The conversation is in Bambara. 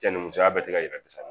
Cɛnimusoya bɛɛ ti ka